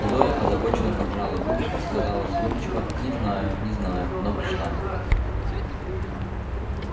зоя озабоченно поджала губы сказала задумчиво не знаю не знаю но пришла